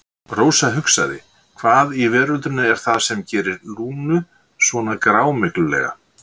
Rósa hugsaði: Hvað í veröldinni er það sem gerir Lúnu svona grámyglulega?